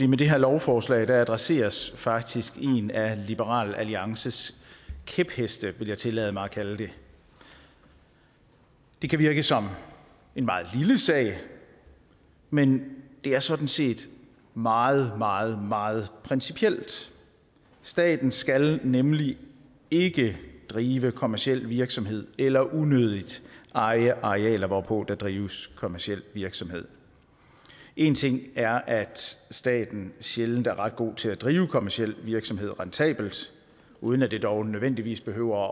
med det her lovforslag adresseres faktisk en af liberal alliances kæpheste vil jeg tillade mig at kalde det det kan virke som en meget lille sag men det er sådan set meget meget meget principielt staten skal nemlig ikke drive kommerciel virksomhed eller unødigt eje arealer hvorpå der drives kommerciel virksomhed en ting er at staten sjældent er ret god til at drive kommerciel virksomhed rentabelt uden at det dog nødvendigvis behøver